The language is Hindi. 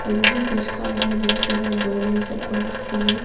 और वो भी केस का अंदर बहोत ज्यादा सबको रखते हैं।